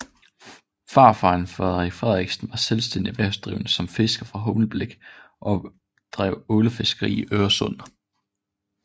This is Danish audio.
Farfaren Frederik Frederiksen var selvstændig erhvervsdrivende som fisker fra Humlebæk og drev ålefiskeri i Øresund